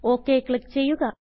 OKക്ലിക്ക് ചെയ്യുക